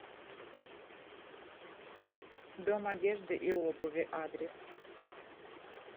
дом одежды и обуви адрес